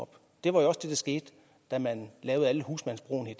op det var jo også det der skete da man lavede alle husmandsbrugene i